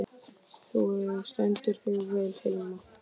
Þú stendur þig vel, Hilma!